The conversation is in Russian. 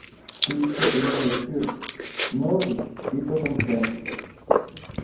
включи прямой эфир норвич и тоттенхэм